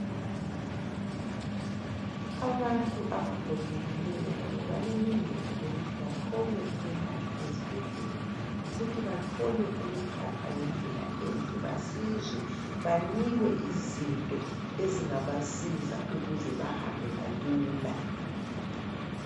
Abantu abagogekileyo labo balelungelo lokuthi bathole ukwelatshwa ezibhedlela, futhi bathole ukuphathwa ngendlela enhle. Basizwe banikwe izinto ezingabasiza ukuze bahambe kalula.